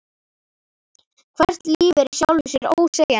Hvert líf er í sjálfu sér ósegjanlegt.